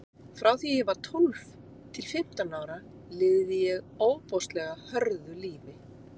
Frá því að ég var tólf til fimmtán ára lifði ég ofboðslega hörðu lífi.